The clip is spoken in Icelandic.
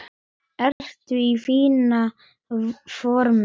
Ertu í fínu formi?